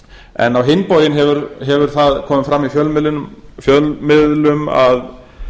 en á hinn bóginn hefur það komið fram í fjölmiðlum að